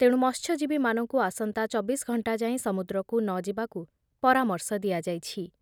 ତେଣୁ ମତ୍ସ୍ୟଜୀବୀମାନଙ୍କୁ ଆସନ୍ତା ଚବିଶ ଘଣ୍ଟା ଯାଏଁ ସମୁଦ୍ରକୁ ନଯିବାକୁ ପରାମର୍ଶ ଦିଆଯାଇଛି ।